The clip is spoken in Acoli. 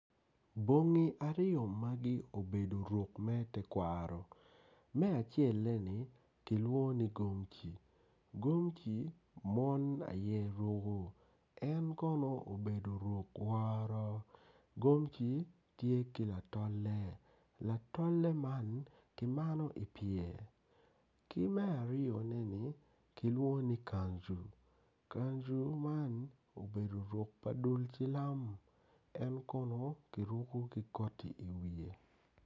Man kono tye poto anyogi, anyogi man kono odongo mabeco adada pot anyogi man kono tye rangi ma alum alum anyogi miyo itwa cam i yo mapol maclo moko. Anyogi bene ka kibulu bene ki mwodo amwoda.